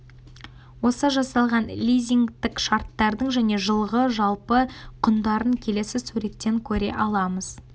осы жасалған лизингтік шарттардың және жылғы жалпы құндарын келесі суреттен көре аламыз